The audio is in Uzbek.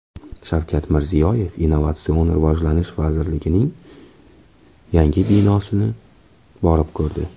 Shavkat Mirziyoyev Innovatsion rivojlanish vazirligining yangi binosini borib ko‘rdi.